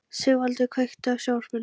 Sigvaldi, kveiktu á sjónvarpinu.